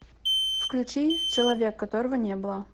включи человек которого не было